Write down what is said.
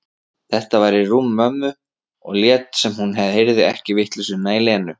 Þetta væri rúm mömmu, og lét sem hún heyrði ekki vitleysuna í Lenu.